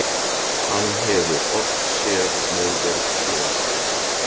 Hann hefur oft séð móður Klöru.